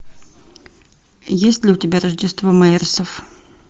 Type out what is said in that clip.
есть ли у тебя рождество мэйерсов